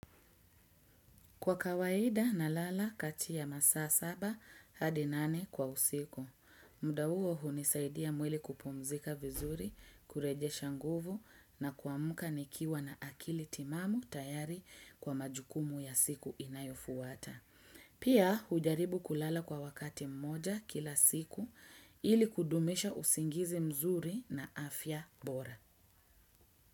Kwa kawaida na lala kati ya masaa saba hadi nane kwa usiku, muda huo hunisaidia mwili kupumzika vizuri kureje shanguvu na kwa muka nikiwa na akili timamu tayari kwa majukumu ya siku inayofuwata. Pia ujaribu kulala kwa wakati mmoja kila siku ili kudumisha usingizi mzuri na afya bora.